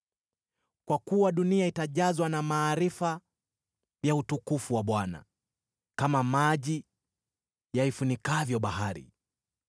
Kwa kuwa dunia itajazwa na maarifa ya utukufu wa Bwana , kama maji yaifunikavyo bahari.